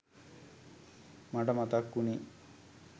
මට මතක් වුනේ